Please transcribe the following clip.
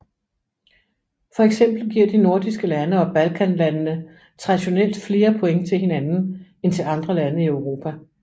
For eksempel giver de nordiske lande og balkanlandene traditionelt flere point til hinanden end til andre lande i Europa